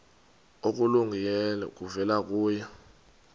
okulungileyo kuvela kuye